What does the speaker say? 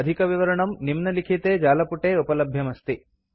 अधिकविवरणं निम्नलिखिते जालपुटे उपलभ्यमस्ति